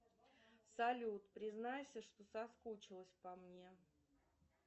салют признайся что соскучилась по мне